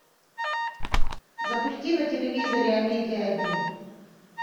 запусти на телевизоре амедиа один